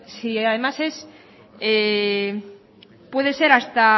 si además es puede ser hasta